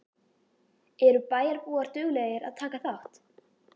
Eru bæjarbúar duglegir að taka þátt?